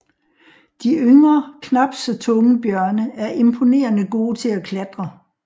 De yngre knapt så tunge bjørne er imponerende gode til at klatre